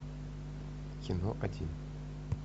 кино один